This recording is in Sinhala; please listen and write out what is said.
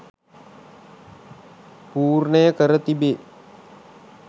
පූර්ණය කර තිබේ